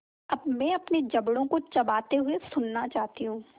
अब मैं अपने जबड़ों को चबाते हुए सुनना चाहती हूँ